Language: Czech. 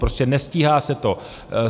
Prostě nestíhá se to.